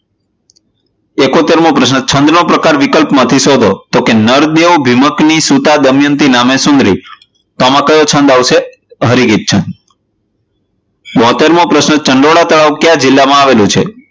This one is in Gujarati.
એકોતેર મો પ્રશ્ન છંદ નો પ્રકાર વિકલોમાંથી શોધો, તો કે નાર કેવો ધિમક ની સૂતા દમયંતી નામે ચૂંદડી તો આમા કયો છંદ આવશે? હરિની છંદ બોતેરમો પ્રશ્ન ચંડોળા તળાવ કયા જિલ્લામાં આવેલું છે?